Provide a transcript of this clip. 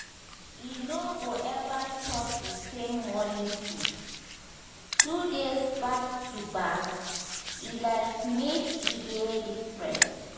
e no go ever chop the same morning food two days back-to-back e like make e dey different.